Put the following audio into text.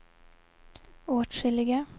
åtskilliga